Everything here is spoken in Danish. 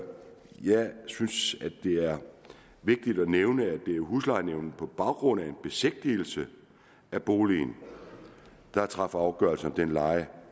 synes at det er vigtigt at nævne at det er huslejenævnet der på baggrund af en besigtigelse af boligen træffer afgørelse om den leje